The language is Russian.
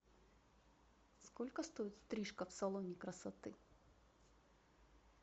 сколько стоит стрижка в салоне красоты